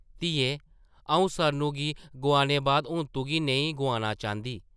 धिये आʼऊं सरनु गी गोआने बाद हून तुगी नेईं गोआना चांह्दी ।